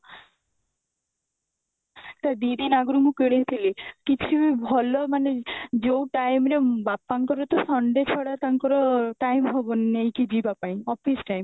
ତ ଦିଦିନ ଆଗରୁ ମୁଁ କିଣିଥିଲି କିଛି ବି ଭଲ ମାନେ ଯୋଉ time ରେ ବାପାଙ୍କର ତ Sunday ଛଡା ତାଙ୍କର time ହବନି ନେଇକି ଯିବା ପାଇଁ office time